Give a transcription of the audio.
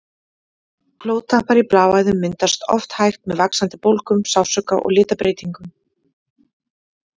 Blóðtappar í bláæðum myndast oft hægt með vaxandi bólgum, sársauka og litabreytingum.